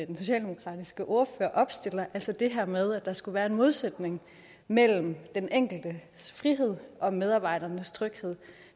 den socialdemokratiske ordfører opstiller altså det her med at der skulle være en modsætning mellem den enkeltes frihed og medarbejdernes tryghed